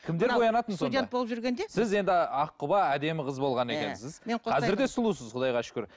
кімдер боянатын сонда студент болып жүренде сіз енді аққұба әдемі қыз болған екенсіз қазір де сұлусыз құдайға шүкір